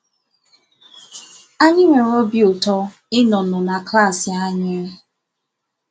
Anyị nwere obi ụtọ ị nọ nọ na klasi anyị!